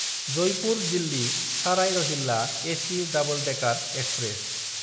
जयपुर–दिल्ली साराय Rohilla AC double decker express